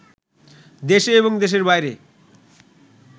দেশে এবং দেশের বাইরে